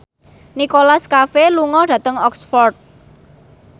Nicholas Cafe lunga dhateng Oxford